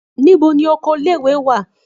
Níbo ni oko ilé-ìwé wà?